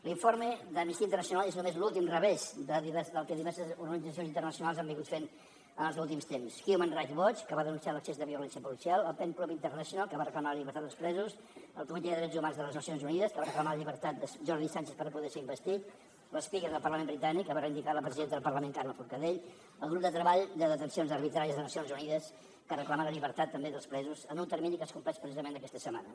l’informe d’amnistia internacional és només l’últim revés del que diverses organitzacions internacionals han fet en els últims temps human rights watch que va denunciar l’excés de violència policial el pen club international que va reclamar la llibertat dels presos el comitè de drets humans de les nacions unides que va reclamar la llibertat de jordi sànchez per no poder ser investit l’ment britànic que va reivindicar la presidenta del parlament carme forcadell el grup de treball de detencions arbitràries de nacions unides que reclama la llibertat també dels presos en un termini que es compleix precisament aquesta setmana